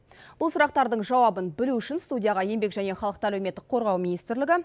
бұл сұрақтардың жауабын білу үшін студияға еңбек және халықты әлеуметтік қорғау министрлігі